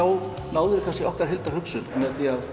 ná þau kannski okkar heildarhugsun með því að